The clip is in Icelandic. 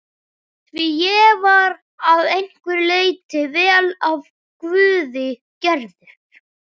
Því ég var að einhverju leyti vel af guði gerður.